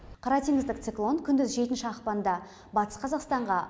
қара теңіздік циклон күндіз жетінші ақпанда батыс қазақстанға